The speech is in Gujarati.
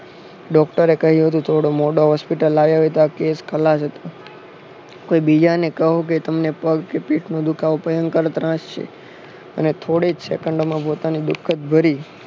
ડોક્ટરે કહ્યું હતું થોડો મોડો hospital આવ્યો હોય તો આ case ખલાશ હતો. કોઈ બીજાને કહો કે તમને પગ કે પીઠનો દુખાવો ભયાનક ત્રાસ છે અને થોડી જ સેકંડોમાં પોતાની દુઃખદ ભરી